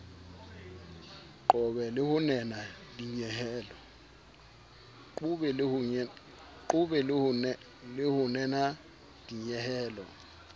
qobe le ho nena dinyehelo